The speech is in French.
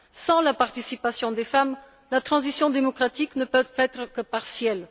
Sans la participation des femmes, la transition démocratique ne peut être que partielle.